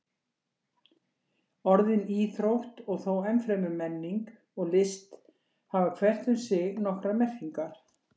Orðin íþrótt og þó enn fremur menning og list hafa hvert um sig nokkrar merkingar.